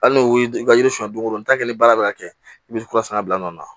Hali n'o ye i ka yiri sɔn don o don n'a tɛ ni baara bɛ ka kɛ i bɛ kura fana bila nɔ la